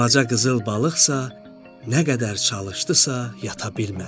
Balaca qızıl balıqsa nə qədər çalışdısa yata bilmədi.